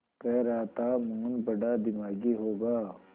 कह रहा था मोहन बड़ा दिमागी होगा